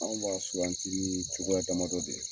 An b'a suwanti ni cogoya damadɔ de ye